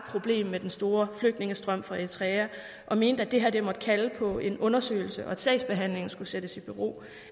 problem med den store flygtningestrøm fra eritrea og mente at det her måtte kalde på en undersøgelse og at sagsbehandlingen skulle stilles i bero